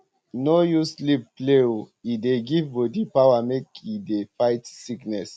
no use sleep play o e dey give body power make e dey um fight sickness